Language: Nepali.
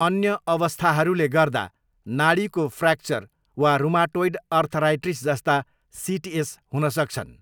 अन्य अवस्थाहरूले गर्दा नाडीको फ्र्याक्चर वा रुमाटोइड अर्थ्राइटिस जस्ता सिटिएस हुन सक्छन्।